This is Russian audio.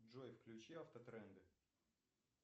джой включи автотренды